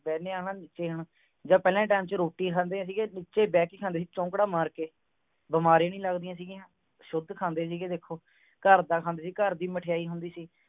ਬਣੇ ਹਾਂ ਨਾ ਨੀਚੇ ਨੂੰ ਜਾਂ ਪਹਿਲਾਂ ਦੇ time ਦੇ ਵਿਚ ਰੋਟੀ ਖਾਂਦੇ ਸੀਗੇ ਵਿਛੇ ਬਹਿ ਕੇ ਖਾਂਦੇ ਸੀਗੇ ਚੌਂਕੜਾ ਮਾਰ ਕੇ ਬਮਾਰੀ ਨਹੀਂ ਲੱਗਦੀਆਂ ਸੀਰੀਆਂ ਸ਼ੁੱਧ ਖਾਂਦੇ ਸੀਗੇ ਦੇਖੋ ਘਰ ਦਾ ਖਾਣ ਦੇ ਸੀਗੇ ਘਰ ਦੀ ਮਠਿਆਈ ਹੁੰਦੀ ਸੀ